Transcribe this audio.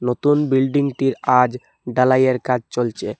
নতুন বিল্ডিংটির আজ ঢালাইয়ের কাজ চলছে।